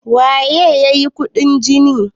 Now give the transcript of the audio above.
waye ya yi kuɗin jini?